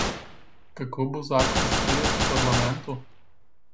Kako bo zakon sprejet v parlamentu?